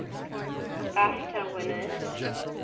bafta winners